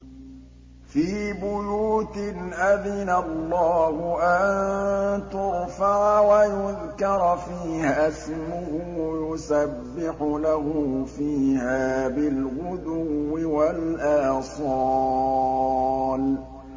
فِي بُيُوتٍ أَذِنَ اللَّهُ أَن تُرْفَعَ وَيُذْكَرَ فِيهَا اسْمُهُ يُسَبِّحُ لَهُ فِيهَا بِالْغُدُوِّ وَالْآصَالِ